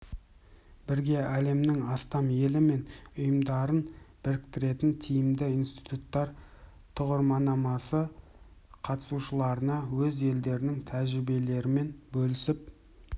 бірге әлемнің астам елі мен ұйымдарын біріктіретін тиімді институттар тұғырманамасы қатысушыларына өз елдерінің тәжірибелерімен бөлісіп